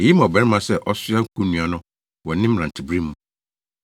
Eye ma ɔbarima sɛ ɔsoa konnua no wɔ ne mmerantebere mu.